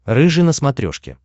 рыжий на смотрешке